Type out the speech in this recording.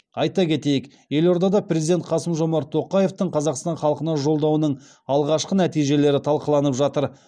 айта кетейік елордада президент қасым жомарт тоқаевтың қазақстан халқына жолдауының алғашқы нәтижелері талқыланып жатыр